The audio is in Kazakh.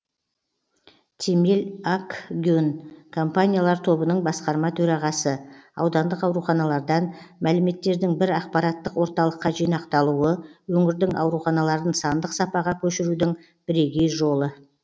темел акгюн компаниялар тобының басқарма төрағасы аудандық ауруханалардан мәліметтердің бір ақпараттық орталыққа жинақталуы өңірдің ауруханаларын сандық сапаға көшірудің бірегей жолы